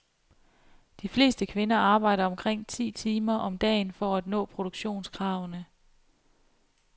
De fleste kvinder arbejder omkring ti timer om dagen for at nå produktionskravene.